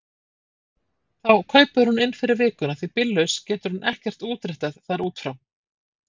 Þá kaupir hún inn fyrir vikuna því bíllaus getur hún ekkert útréttað þar út frá.